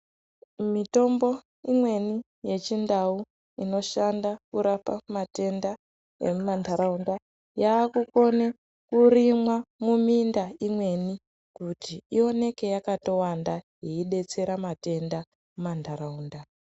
Mitombo imweni yechindau inoshanda kurapa matenda emumantaraunda yakukone kurimwa muminda imweni kuti ioneke yakatowanda yeidetsera matenda mumantaraunda.